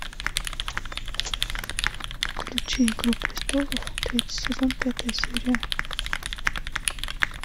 включи игру престолов третий сезон пятая серия